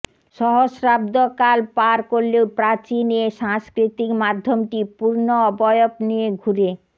সহস্রাব্দকাল পার করলেও প্রাচীন এ সাংস্কৃতিক মাধ্যমটি পূর্ণ অবয়ব নিয়ে ঘুরে